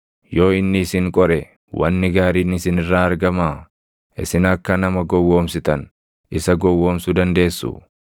Yoo inni isin qore wanni gaariin isin irraa argamaa? Isin akka nama gowwoomsitan, isa gowwoomsuu dandeessuu?